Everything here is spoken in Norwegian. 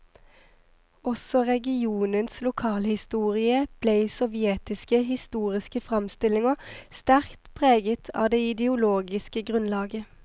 Også regionens lokalhistorie ble i sovjetiske historiske framstillinger sterkt preget av det ideologiske grunnlaget.